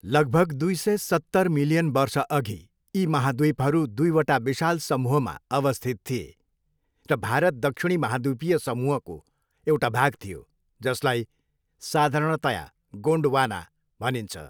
लगभग दुई सय सत्तर मिलियन वर्षअघि, यी महाद्वीपहरू दुईवटा विशाल समूहमा अवस्थित थिए र भारत दक्षिणी महाद्विपीय समूहको एउटा भाग थियो जसलाई साधारणतया गोन्डवाना भनिन्छ।